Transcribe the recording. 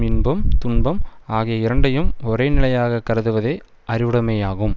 இன்பம் துன்பம் ஆகிய இரண்டையும் ஒரே நிலையாக கருதுவதே அறிவுடைமையாகும்